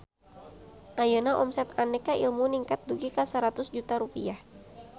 Ayeuna omset Aneka Ilmu ningkat dugi ka 100 juta rupiah